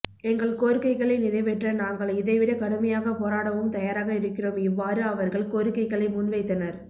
எங்கள் கோரிக்கைகளை நிறைவேற்ற நாங்கள் இதை விட கடுமையாக போராடவும்தயாராக இருக்கிறோம் இவ்வாறு அவர்கள் கோரிக்கைளை முன் வைத்தனர்